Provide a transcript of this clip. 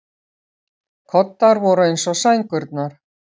Koddar voru eins og sængurnar.